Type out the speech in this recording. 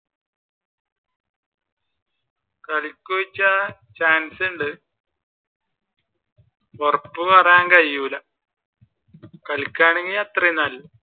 കളിക്കു ചോയ്ച്ച chance ഉണ്ട് ഉറപ്പ് പറയാൻ കഴിയൂല കളിക്കുകായാണെങ്കിൽ അത്രയും നല്ലത്